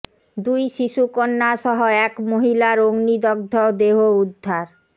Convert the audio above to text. দুই শিশু কন্যা সহ এক মহিলার অগ্নিদগ্ধ দেহ উদ্ধার